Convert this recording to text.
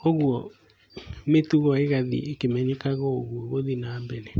Koguo, mĩtugo ĩgathiĩ ĩkĩmenyekaga ũguo, gũthi nambere.